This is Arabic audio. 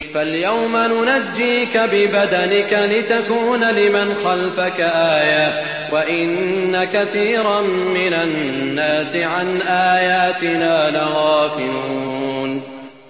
فَالْيَوْمَ نُنَجِّيكَ بِبَدَنِكَ لِتَكُونَ لِمَنْ خَلْفَكَ آيَةً ۚ وَإِنَّ كَثِيرًا مِّنَ النَّاسِ عَنْ آيَاتِنَا لَغَافِلُونَ